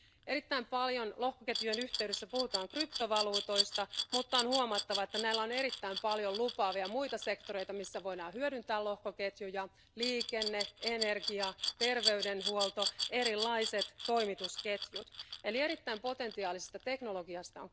Erittäin paljon lohkoketjujen yhteydessä puhutaan kryptovaluutoista, mutta on huomattava, että meillä on erittäin paljon lupaavia muita sektoreita, joissa voidaan hyödyntää lohkoketjuja liikenne, energia, terveydenhuolto ja erilaiset toimitusketjut, eli on kyse erittäin potentiaalisesta teknologiasta.